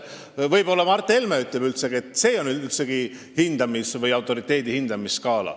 Võib-olla ütleb Mart Helme, et see pole üldse autoriteedi hindamise skaala.